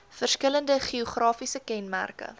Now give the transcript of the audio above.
verskillende geografiese kenmerke